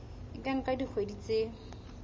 e ka nka dikgwedi tse